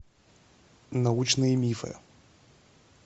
научные мифы